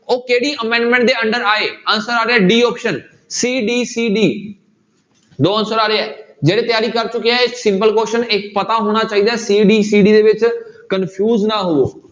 ਉਹ ਕਿਹੜੀ amendment ਦੇ under ਆਏ answer ਆ ਰਿਹਾ d option c, d, c, d ਦੋ answer ਆ ਰਹੇ ਹੈ, ਜਿਹੜੇ ਤਿਆਰੀ ਕਰ ਚੁੱਕੇ ਹੈ ਇਹ simple question ਇੱਕ ਪਤਾ ਹੋਣਾ ਚਾਹੀਦਾ c, d, c, d ਦੇ ਵਿੱਚ confuse ਨਾ ਹੋਵੇ।